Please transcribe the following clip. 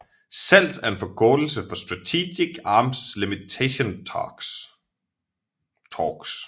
SALT er en forkortelse for Strategic Arms Limitation Talks